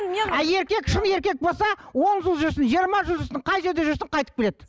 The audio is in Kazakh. ал еркек шын еркек болса он жыл жүрсін жиырма жыл жүрсін қай жерде жүрсін қайтып келеді